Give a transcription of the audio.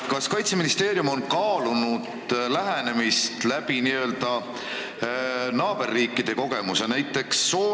Kas Kaitseministeerium on kaalunud lähenemist n-ö naaberriikide kogemuse kaudu?